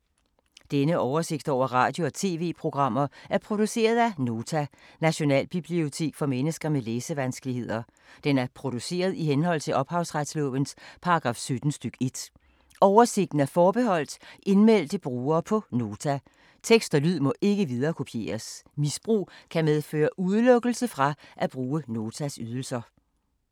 Denne oversigt over radio og TV-programmer er produceret af Nota, Nationalbibliotek for mennesker med læsevanskeligheder. Den er produceret i henhold til ophavsretslovens paragraf 17 stk. 1. Oversigten er forbeholdt indmeldte brugere på Nota. Tekst og lyd må ikke viderekopieres. Misbrug kan medføre udelukkelse fra at bruge Notas ydelser.